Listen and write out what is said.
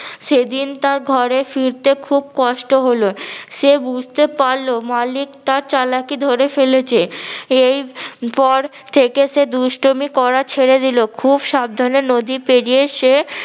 সেদিন তার ঘরে ফিরতে খুব কষ্ট হলো সে বুঝতে পারলো মালিক তার চালাকি ধরে ফেলেছে এই পর থেকে সে দুষ্টমি করা ছেড়ে দিলো খুব সাবধানে নদী পেরিয়ে সে